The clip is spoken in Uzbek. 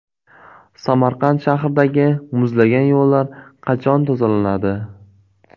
Samarqand shahridagi muzlagan yo‘llar qachon tozalanadi?.